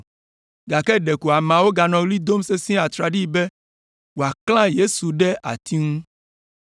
Gake ɖeko ameawo ganɔ ɣli dom sesĩe atraɖii be woaklã Yesu ɖe ati ŋu.